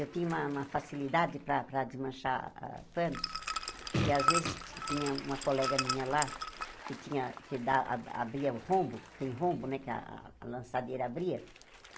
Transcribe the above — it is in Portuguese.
Eu tinha uma uma facilidade para para ah desmanchar panos, que às vezes ti tinha uma colega minha lá, que tinha que dá a abria o rombo, tem rombo, né, que a lançadeira abria.